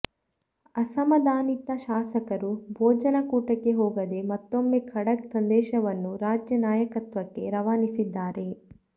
ಅಸಮಾಧಾನಿತ ಶಾಸಕರು ಭೋಜನ ಕೂಟಕ್ಕೆ ಹೋಗದೆ ಮತ್ತೊಮ್ಮೆ ಖಡಕ್ ಸಂದೇಶವನ್ನು ರಾಜ್ಯ ನಾಯಕತ್ವಕ್ಕೆ ರವಾನಿಸಿದ್ದಾರೆ